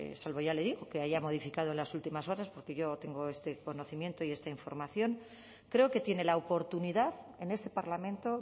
salvo ya le digo que haya modificado en las últimas horas porque yo tengo conocimiento y esta información creo que tiene la oportunidad en este parlamento